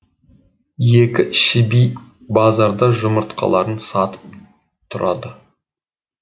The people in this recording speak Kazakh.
екі шіби базарда жұмыртқаларын сатып тұрады